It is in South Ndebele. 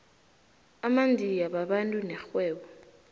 amandiya babantu nerhwebo